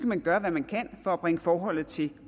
man gøre hvad man kan for at bringe forholdet til